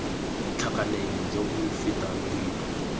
tlhakaneng jo bo fetang boima